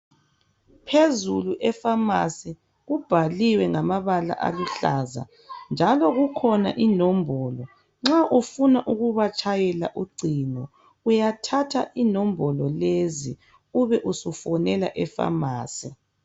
Phezulu efamasi, kubhaliwe ngamabala aluhlaza kubhaliwe njalo kukhona inombolo nxa ufuna ukubatshayela ucingo uyathatha inombolo lezi ube usufonela efamasi.